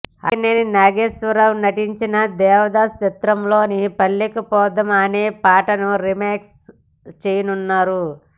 అక్కినేని నాగేశ్వర్ రావు నటించిన దేవదాసు చిత్రంలోని పల్లెకు పోదాం అనే పాటను రిమేక్ చేయనున్నారు